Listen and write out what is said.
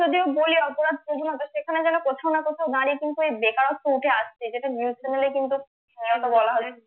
অপরাধপ্রজনতা সেখানে যেন কোথাও না কোথাও নারী কিন্তু এই বেকারত্ব উঠে আসছে যেটা news channel এ কিন্তু